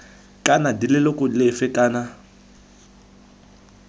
kana d leloko lefe kana